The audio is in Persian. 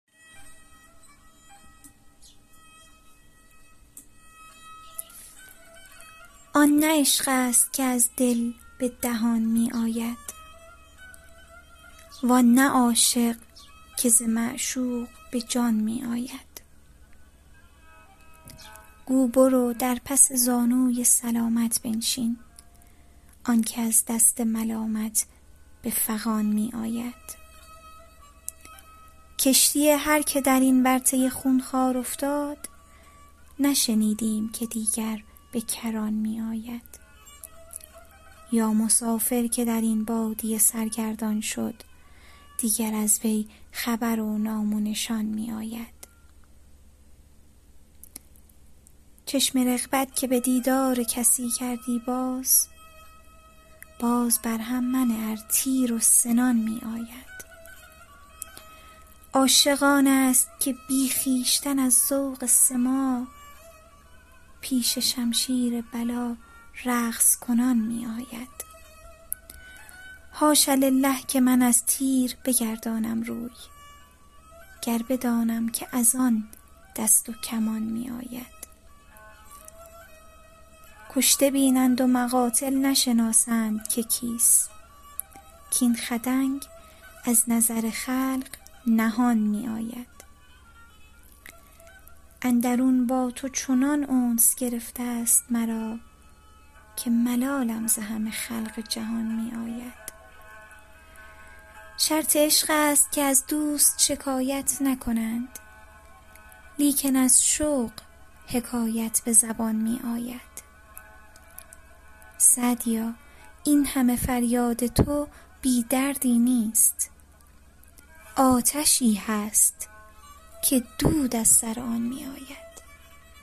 آن نه عشق است که از دل به دهان می آید وان نه عاشق که ز معشوق به جان می آید گو برو در پس زانوی سلامت بنشین آن که از دست ملامت به فغان می آید کشتی هر که در این ورطه خونخوار افتاد نشنیدیم که دیگر به کران می آید یا مسافر که در این بادیه سرگردان شد دیگر از وی خبر و نام و نشان می آید چشم رغبت که به دیدار کسی کردی باز باز بر هم منه ار تیر و سنان می آید عاشق آن است که بی خویشتن از ذوق سماع پیش شمشیر بلا رقص کنان می آید حاش لله که من از تیر بگردانم روی گر بدانم که از آن دست و کمان می آید کشته بینند و مقاتل نشناسند که کیست کاین خدنگ از نظر خلق نهان می آید اندرون با تو چنان انس گرفته ست مرا که ملالم ز همه خلق جهان می آید شرط عشق است که از دوست شکایت نکنند لیکن از شوق حکایت به زبان می آید سعدیا این همه فریاد تو بی دردی نیست آتشی هست که دود از سر آن می آید